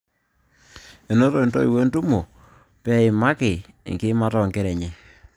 Enoto intoiwuo entumo peyie eimaki enkiimata oonkera enye